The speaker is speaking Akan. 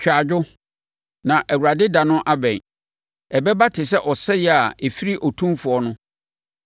Twa adwo, na Awurade da no abɛn; ɛbɛba te sɛ ɔsɛeɛ a ɛfiri Otumfoɔ no.